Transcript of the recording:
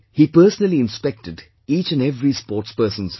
He personally inspected each and every sportsperson's room